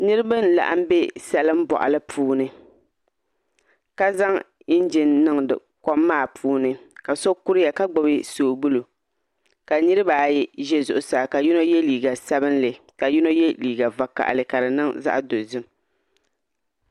Niraba n laɣam bɛ salin boɣali puuni ka zaŋ injin niŋ kom maa puuni ka so kuriya ka gbubi soobuli ka niraba ayi ʒɛ zuɣusaa ka yino yɛ liiga sabinli ka yino yɛ liiga vakaɣali ka di niŋ zaɣ dozim